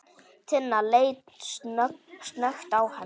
Tinna leit snöggt á hann.